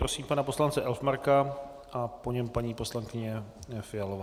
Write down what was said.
Prosím pana poslance Elfmarka a po něm paní poslankyně Fialová.